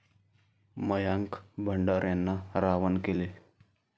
मयांक भंडाऱ्यांना रावण केले.